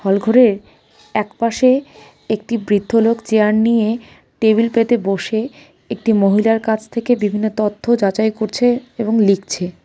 হল ঘরে এক পাশে একটি বৃদ্ধ লোক চেয়ার নিয়ে টেবিল পেতে বসে একটি মহিলার কাছ থেকে বিভিন্ন তথ্য যাচাই করছে এবং লিখছে ।